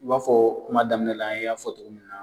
I b'a fɔ kuma daminɛ la an y'a fɔ togo min na.